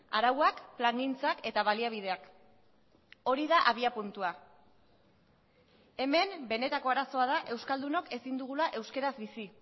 arauak plangintzak eta baliabideak hori da abiapuntua hemen benetako arazoa da euskaldunok ezin dugula euskaraz bizi